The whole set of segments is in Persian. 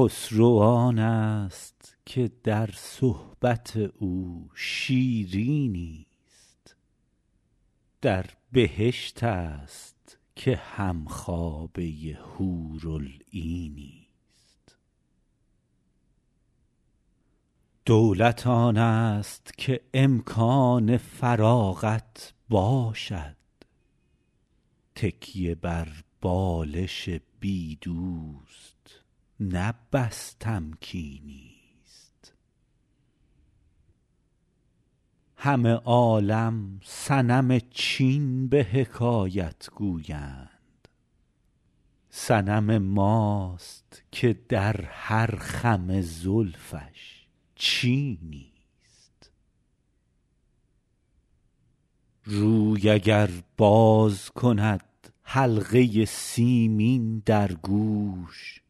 خسرو آنست که در صحبت او شیرینی ست در بهشت است که هم خوابه حورالعینی ست دولت آنست که امکان فراغت باشد تکیه بر بالش بی دوست نه بس تمکینی ست همه عالم صنم چین به حکایت گویند صنم ماست که در هر خم زلفش چینی ست روی اگر باز کند حلقه سیمین در گوش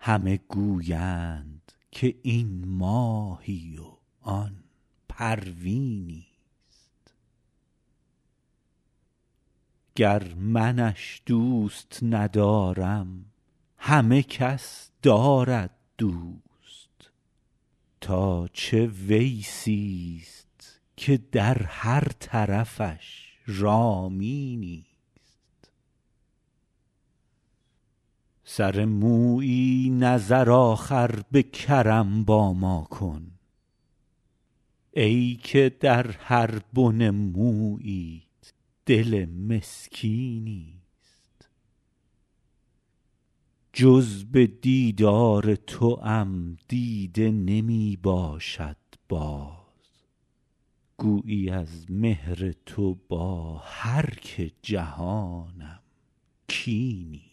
همه گویند که این ماهی و آن پروینی ست گر منش دوست ندارم همه کس دارد دوست تا چه ویسی ست که در هر طرفش رامینی ست سر مویی نظر آخر به کرم با ما کن ای که در هر بن موییت دل مسکینی ست جز به دیدار توام دیده نمی باشد باز گویی از مهر تو با هر که جهانم کینی ست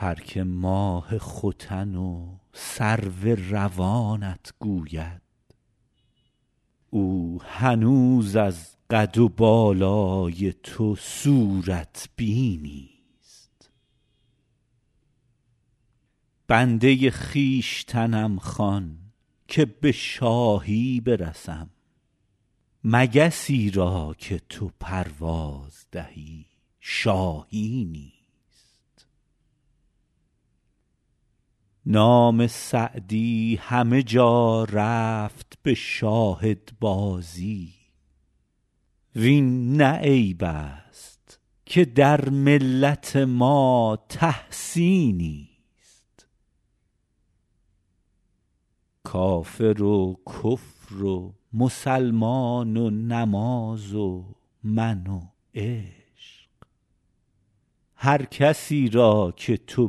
هر که ماه ختن و سرو روانت گوید او هنوز از قد و بالای تو صورت بینی ست بنده خویشتنم خوان که به شاهی برسم مگسی را که تو پرواز دهی شاهینی ست نام سعدی همه جا رفت به شاهدبازی وین نه عیب است که در ملت ما تحسینی ست کافر و کفر و مسلمان و نماز و من و عشق هر کسی را که تو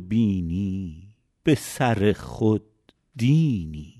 بینی به سر خود دینی ست